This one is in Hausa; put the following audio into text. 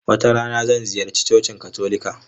Wata rana, zan ziyarci cocin Katolika.